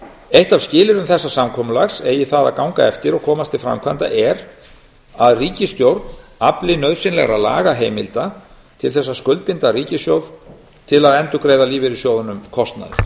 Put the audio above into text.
eitt af skilyrðum samkomulagsins eigi það að ganga eftir og komast til framkvæmda er að ríkisstjórn afli nauðsynlegra lagaheimilda til þess að skuldbinda ríkissjóð til að endurgreiða lífeyrissjóðunum kostnað